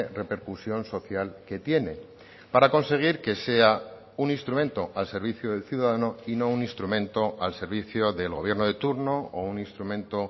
repercusión social que tiene para conseguir que sea un instrumento al servicio del ciudadano y no un instrumento al servicio del gobierno de turno o un instrumento